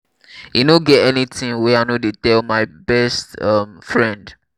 e no get anything wey i no dey tell my best um friend